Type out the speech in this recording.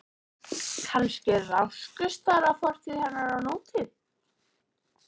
Kannski rákust þar á fortíð hennar og nútíð.